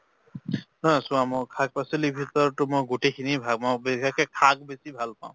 অ, চোৱা মোক শাক-পাচলিৰ ভিতৰতো মই গোটেইখিনিয়ে ভা মোক বিশেষকে শাক বেছি ভাল পাওঁ